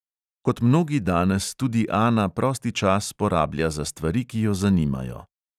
Kot mnogi danes tudi ana prosti čas porablja za stvari, ki jo zanimajo.